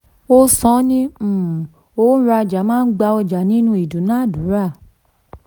ó san án ní um òńrajà máa ń gba ọjà nínú ìdúnnàdúnrà.